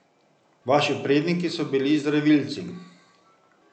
Vaši predniki so bili zdravilci.